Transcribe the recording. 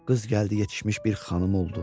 Qız gəldi, yetişmiş bir xanım oldu.